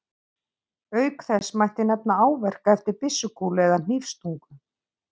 Auk þess mætti nefna áverka eftir byssukúlu eða hnífsstungu.